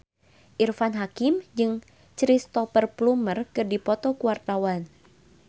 Irfan Hakim jeung Cristhoper Plumer keur dipoto ku wartawan